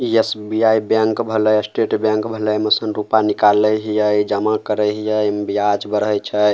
इ SBI. Bank भेलय State Bank भेलेय एमें से रूपा निकाले हीये जमा करय हीये एमे ब्याज बढ़य छै।